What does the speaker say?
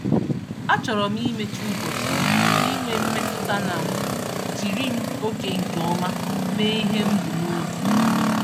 A chọrọ m imechi ụbọchị m n'inwe mmetụta na m jiri m oge nke ọma mee ihe m bu n'obi.